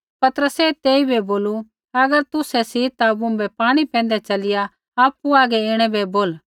पतरसै तेइबै बोलू अगर तुसै सी ता मुँभै पाणी पैंधै च़लिया आपु हागै ऐणै बै बोल